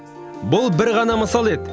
бұл бір ғана мысалы еді